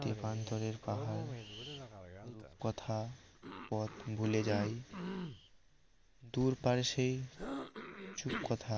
তেপান্তরের পাহাড় রূপকথা পথ ভুলে যাই দূর পারে সে চুপ কথা